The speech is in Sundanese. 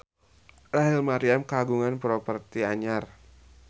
Rachel Maryam kagungan properti anyar